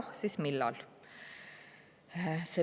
Kui jah, siis millal?